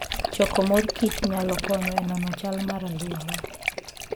Choko mor kich nyalo konyo e nono chal mar alwora.